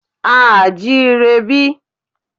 A à jí ire bí?